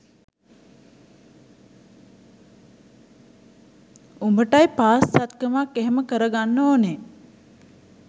උඹට bypass සැත්කමක් එහෙම කරගන්න ඕනේ